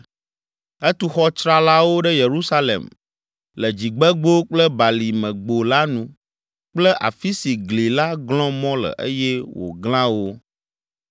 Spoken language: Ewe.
Etu xɔ tsralawo ɖe Yerusalem le Dzigbegbo kple Balimegbo la nu kple afi si gli la glɔ̃ mɔ le eye wòglã wo.